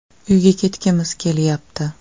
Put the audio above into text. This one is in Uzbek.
Uyga ketgimiz kelyapti.